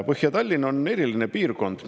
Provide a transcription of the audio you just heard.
Põhja-Tallinn on eriline piirkond.